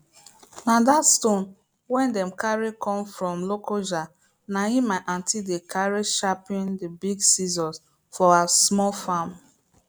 na that stone wey dem carry come from lokoja na him my aunty dey carry sharpen the big sicssors for her small farm